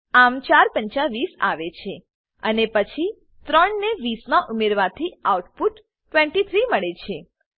આમ ચાર પંચા વીસ આવે છે અને પછી ત્રણને 20 માં ઉમેરવાથી આઉટપુટ 23 મળે છે